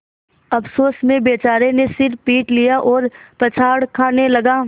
अफसोस में बेचारे ने सिर पीट लिया और पछाड़ खाने लगा